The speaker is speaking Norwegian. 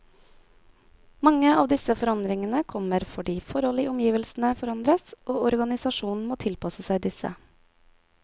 Mange av disse forandringene kommer fordi forhold i omgivelsene forandres, og organisasjonen må tilpasse seg disse.